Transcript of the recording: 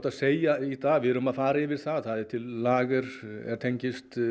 að segja í dag við erum að fara yfir það það er til lager sem tengist